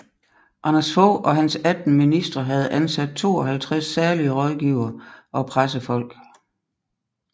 Anders Fogh og hans 18 ministre havde ansat 52 særlige rådgivere og pressefolk